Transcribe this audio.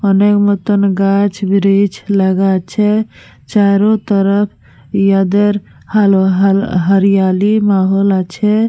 অনেক মতন গাছ ব্রিচ লাগা আছে। চারো তরফ ইয়াদের হাল হরিয়ালি মাহল আছে।